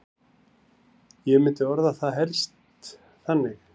Ég myndi orða það helst þannig.